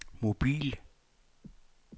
mobil